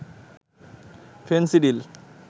Phensedyl